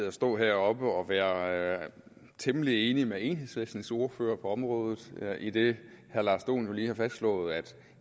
at stå heroppe og være temmelig enig med enhedslistens ordfører på området idet herre lars dohn jo lige har fastslået at